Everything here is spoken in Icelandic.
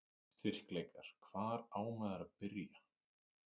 Styrkleikar: Hvar á maður að byrja?